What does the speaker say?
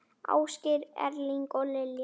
Ásgeir Erling og Lilja.